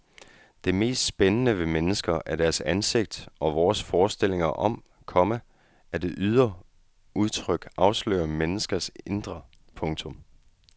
Det mest spændende ved mennesker er deres ansigt og vores forestillinger om, komma at det ydre udtryk afslører menneskers indre. punktum